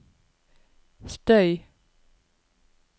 støy